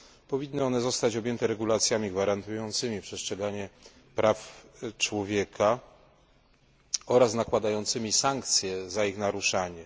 Powinny one zostać objęte regulacjami gwarantującymi przestrzeganie praw człowieka oraz nakładającymi sankcje za ich naruszanie.